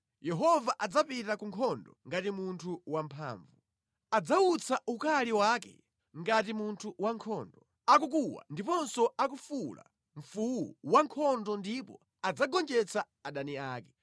Yehova adzapita ku nkhondo ngati munthu wamphamvu, adzawutsa ukali wake ngati munthu wankhondo; akukuwa ndiponso akufuwula mfuwu wankhondo ndipo adzagonjetsa adani ake.